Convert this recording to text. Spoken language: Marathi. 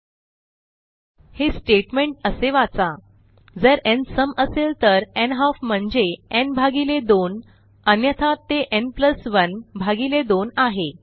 न् 2 न् 1 2 semi कॉलन हे स्टेटमेंट असे वाचा जर न् सम असेल तर न्हाल्फ म्हणजे न् भागिले 2 अन्यथा ते न् प्लस 1 भागिले 2 आहे